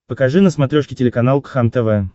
покажи на смотрешке телеканал кхлм тв